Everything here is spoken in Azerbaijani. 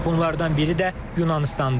Bunlardan biri də Yunanıstandır.